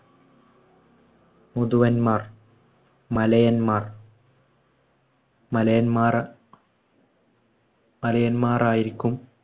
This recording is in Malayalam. മുതുവന്മാർ, മലയന്മാർ. മലയന്മാരാ മലയന്മാരായിരിക്കും